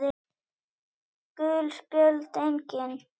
Gul spjöld: Engin.